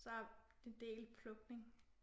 Så det er en del plukning